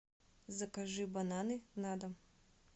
закажи бананы на дом